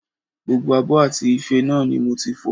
Gbogbo abọ́ àti ife náà ni mo ti fọ̀